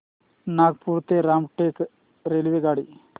नागपूर ते रामटेक रेल्वेगाडी